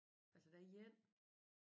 Altså der er en